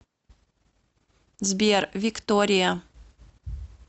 сбер виктория